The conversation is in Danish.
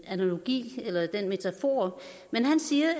analogi eller den metafor